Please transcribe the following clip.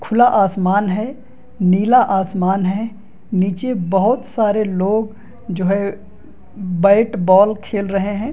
खुला आसमान है नीला आसमान है नीचे बहुत सारे लोग जो है बैट बॉल खेल रहे है।